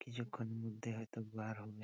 কিছুক্ষণ মধ্যে হয়তো বার হবে।